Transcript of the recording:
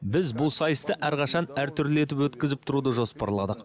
біз бұл сайысты әрқашан әр түрлі етіп өткізіп тұруды жоспарладық